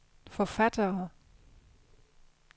forfattere